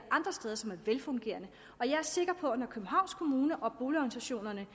andre steder som er velfungerende jeg er sikker på at når københavns kommune og boligorganisationerne